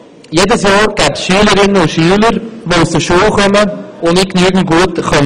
Es gebe jedes Jahr Schülerinnen und Schüler, die nicht genügend gut lesen könnten, wenn sie aus der Schule kämen.